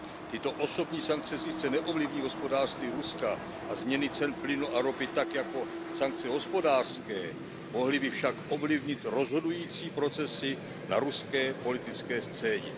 Tyto osobní sankce sice neovlivní hospodářství Ruska a změny cen plynu a ropy tak jako sankce hospodářské, mohly by však ovlivnit rozhodující procesy na ruské politické scéně.